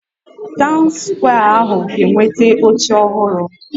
Taụn skwee ahụ ga-enweta oche ọhụrụ